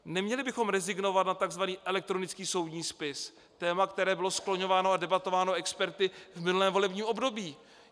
Neměli bychom rezignovat na tzv. elektronický soudní spis, téma, které bylo skloňováno a debatováno experty v minulém volebním období.